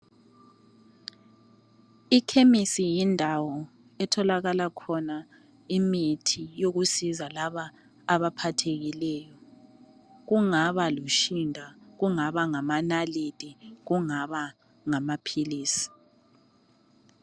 I chemist yindawo etholakala khona imithi yokusiza laba abaphathekileyo kungaba lotshinda kungaba ngamanalithi kungaba ngamaphilisi.